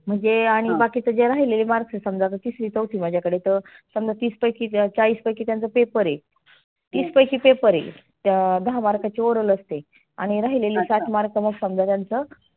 म्हणजे आणि बाकीच जे राहीलेलं marks आहे समजा आता तिसरी माझाकडे तर समजा तीस पैकी चाळीस पैकी त्यांचा paper आहे. तीस पैकी paper हे अं दहा mark ची oral हे आणि राहिलेली सात mark मग समजा त्यांच